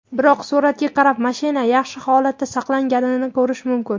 Biroq, suratga qarab, mashina yaxshi holatda saqlanganini ko‘rish mumkin.